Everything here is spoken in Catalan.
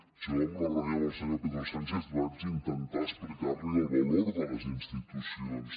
jo en la reunió amb el senyor pedro sánchez vaig intentar explicar li el valor de les institucions